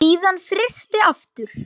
Síðan frysti aftur.